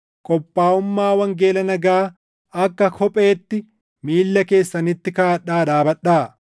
qophaaʼummaa wangeela nagaa akka kopheetti miilla keessanitti kaaʼadhaa dhaabadhaa.